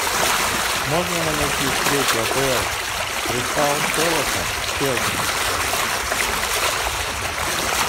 можно нам найти встречу апл кристал пэласа с челси